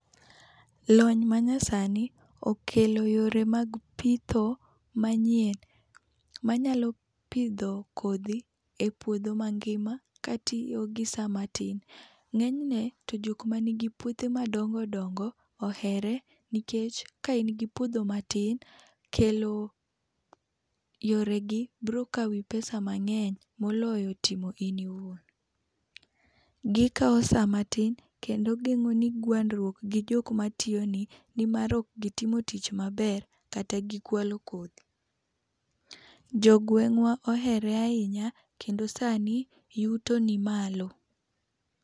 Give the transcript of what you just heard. Lony manyasani okelo yore mag pitho manyien, manyalo pidho kodhi epuodho mangima katiyo gi saa matin. Ng'eny ne, to jok man gi puothe madongo dongo ohere, nikech ka in gi puodho matin kelo yoregi biro kawi pesa | mang'eny moloyo timo in iwuon. Gikawo saa matin kendo gimoro ni gwandruok gi jok matiyoni nimar ok gitimo tich maber kata gikwalo kodhi. Jogweng'wa ohere ahinya kendo sani yuto nimalo.